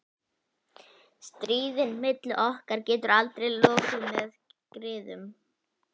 Stríðinu milli okkar getur aldrei lokið með griðum.